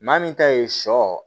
Maa min ta ye sɔ